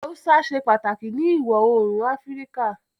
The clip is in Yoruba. Haúsá ṣe pàtàkì ni ìwọ oòrùn Áfíríkà